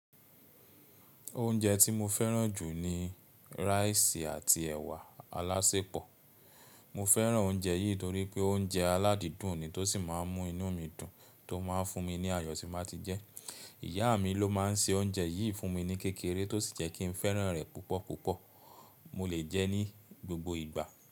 Oúnjẹ tí mo fẹ́ràn jù ni rice àti ẹ̀wà alásẹpọ̀. Mo fẹ́ràn oúnjẹ yìí torí pé oúnjẹ aládìdùn ni tó sì máa ń mú inú mi dùn tó máa ń fún mi ní àyọ̀ tí n báa ti jẹ. Ìyá mi ló máa ń se oúnjẹ yìí fún mi ní kékeré tó sì jẹ́ kí n fẹ́ràn rẹ̀ púpọ̀púpọ̀. Mo lè jẹ́ ní gbogbo ìgbà.